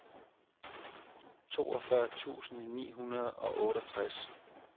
toogfyrre tusind ni hundrede og otteogtres